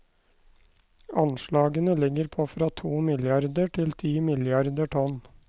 Anslagene ligger på fra to milliarder til ti milliarder tonn.